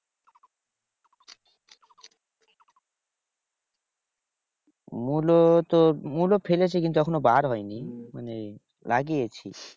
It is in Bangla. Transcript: মুলো তো মুলো ফেলেছে কিন্তু এখনো বার হয় নি, মানে লাগিয়েছি।